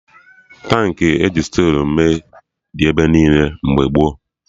Tankị e ji stilu mee dị ebe niile mgbe gboo